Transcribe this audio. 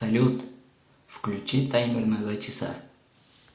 салют включи таймер на два часа